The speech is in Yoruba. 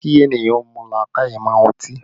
Kò yẹ kí ènìyàn mú làákàyè mọ́ ọtí